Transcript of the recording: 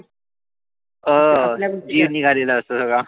हा जीव निघालेला असतो सगळा.